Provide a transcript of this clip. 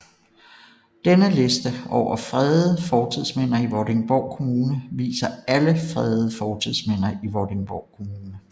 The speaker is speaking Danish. Denne liste over fredede fortidsminder i Vordingborg Kommune viser alle fredede fortidsminder i Vordingborg Kommune